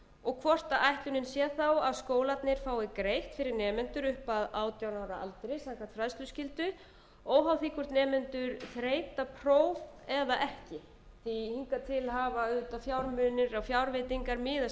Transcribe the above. og hvort ætlunin sá þá að skóalnrir fái greitt fyrir nemendur upp að átján ára aldri samkvæmt fræðsluskyldu óháð því hvort nemendur þreyta próf eða ekki því að hingað til hafa auðvitað fjármunir og fjárveitingar miðast við það að